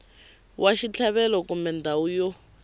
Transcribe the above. wa xitlhavelo kumbe ndhawu yo